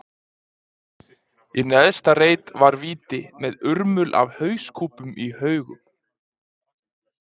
Í neðsta reit var víti, með urmul af hauskúpum í haugum.